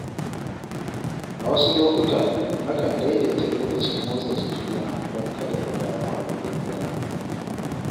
A wasu lokuta, na kan daidaita lokacin motsa jiki na don kada in damu abokin zama.